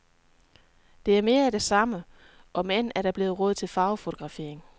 Det er mere af det samme, om end der er blevet råd til farvefotografering.